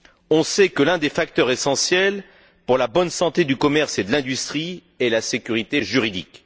On sait que l'un des facteurs essentiels pour la bonne santé du commerce et de l'industrie est la sécurité juridique.